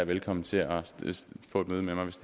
velkomne til at få et møde med mig